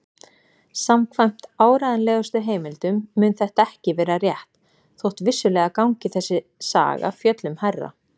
Samkvæmt áreiðanlegustu heimildum mun þetta ekki vera rétt, þótt vissulega gangi þessi saga fjöllum hærra.